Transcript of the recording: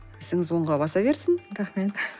ісіңіз оңға баса берсін рахмет